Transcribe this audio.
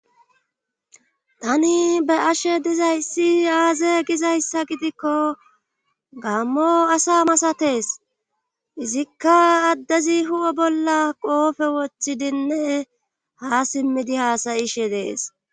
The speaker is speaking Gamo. tani be'ashe dizayssi aaze gizayssa gidikko gammo asa masatees izikka addezi hu7o bolla qoofe wothidinne ha simmidi haasayishe dees